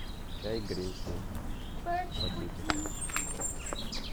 чай гринфилд в пакетиках